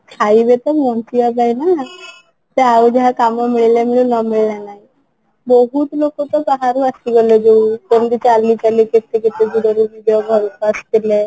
ଖାଇବେ ତ ବଞ୍ଚିବା ପାଇଁ ନା ସେ ଆଉ ଯାହା କାମ ମିଳିଲା ମିଳିଲା ନ ମିଳିଲା ନାହିଁ ବହୁତ ଲୋକ ତ ବାହାରୁ ଆସି ଗଲେ ଯୋଉ କେମିତି ଚାଲି ଚାଲି କି କେତେ କେତେ ଦୂର ରୁ ନିଜ ଘରକୁ